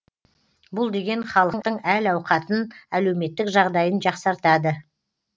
бұл деген халықтың әл ауқатын әлеуметтік жағдайын жақсартады